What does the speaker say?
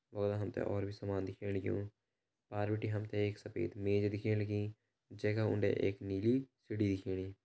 और हम त और भी सामान दिखेण लग्युं पार बिटि हम त एक सफ़ेद मेज दिखेण लगीं जैका उंडे एक नीली सीडी दिखेणी।